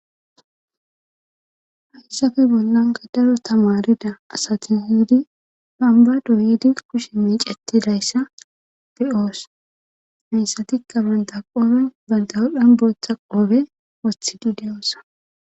haysafe bollanka daro tamarida asati yiidi banba doydi kushe miiceti dayssa be'oos hayssatikka banta qoobe balda wodhan booththa qoobe wothidi de'oosona